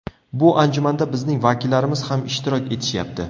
Bu anjumanda bizning vakillarimiz ham ishtirok etishyapti.